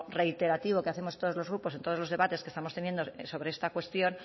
reiterativo que hacemos todos los grupos en todos los debates que estamos teniendo sobre esta cuestión